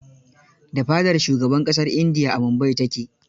Da fadar shugaban ƙasar India a Mumbai ta ke..